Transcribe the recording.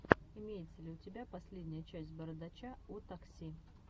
имеется ли у тебя последняя часть бородача о такси